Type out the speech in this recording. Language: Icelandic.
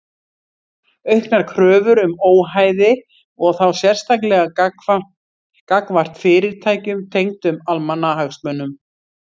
Auknar kröfur um óhæði og þá sérstaklega gagnvart fyrirtækjum tengdum almannahagsmunum.